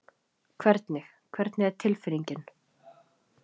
Hvernig, hvernig er tilfinningin?